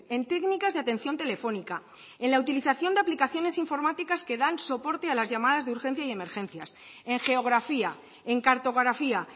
en técnicas de atención telefónica en la utilización de aplicaciones informáticas que dan soporte a las llamadas de urgencia y emergencias en geografía en cartografía